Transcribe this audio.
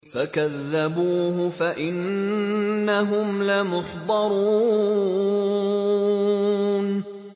فَكَذَّبُوهُ فَإِنَّهُمْ لَمُحْضَرُونَ